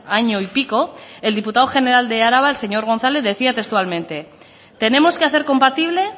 año y pico el diputado general de araba el señor gonzález decía textualmente tenemos que hacer compatible